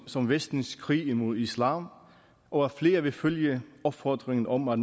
som vestens krig imod islam og at flere vil følge opfordringen om at